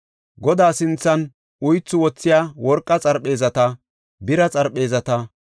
Godaa sinthan uythu wothiya worqa xarpheezata, bira xarpheezata,